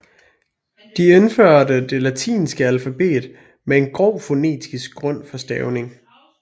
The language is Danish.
De indførte det latinske alfabet med en grov fonetisk grund for stavningen